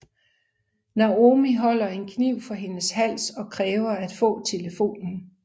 Naomi holder en kniv for hendes hals og kræver at få telefonen